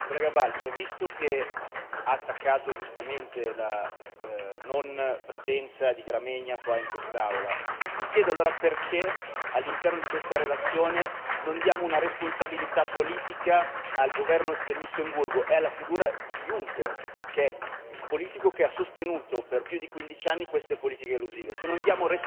Onorevole Balczó, visto che ha attaccato giustamente l'assenza del ministro Gramegna qui in quest'Aula, mi chiedo allora perché all'interno di questa relazione non diamo una responsabilità politica al governo del Lussemburgo e alla figura di Juncker, che è il politico che ha sostenuto per più di quindici anni queste politiche elusive.